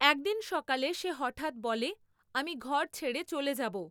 একদিন সকালে সে হঠাৎ বলে, আমি ঘর ছেড়ে চলে যাব।